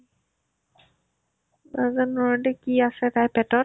নাজানো আৰু সিহতিৰ কি আছে তাইৰ পেটত ?